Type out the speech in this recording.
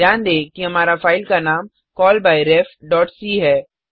ध्यान दें कि हमारी फाइल का नाम callbyrefसी है